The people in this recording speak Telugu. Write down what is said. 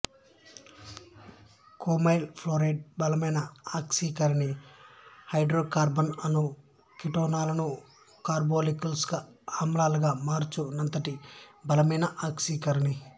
క్రోమైల్ ఫ్లోరైడ్ బలమైన ఆక్సికరణి హైడ్రోకార్బన్ లను కిటోనులుగా కార్బోక్సిలిక్ ఆమ్లాలుగా మార్చు నంతటి బలమైన ఆక్సీకరణి